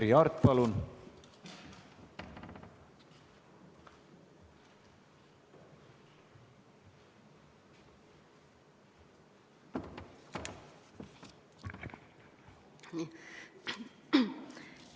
Merry Aart, palun!